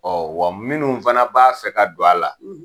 Ɔ wa minnu fana b'a fɛ ka don a la,